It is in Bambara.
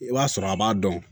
I b'a sɔrɔ a b'a dɔn